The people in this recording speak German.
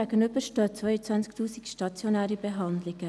Demgegenüber stehen 22 000 stationäre Behandlungen.